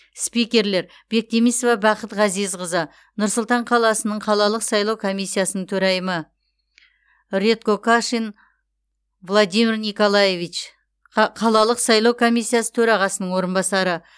спикерлер бектемисова бақыт ғазизқызы нұр сұлтан қаласының қалалық сайлау комиссиясының төрайымы редкокашин владимир николаевич қа қалалық сайлау комиссиясы төрағасының орынбасары